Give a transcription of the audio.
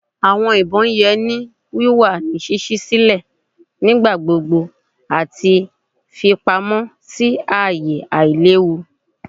Awọn ibon yẹ ki o wa ni ṣiṣi silẹ nigbagbogbo ati fipamọ si aaye ailewu.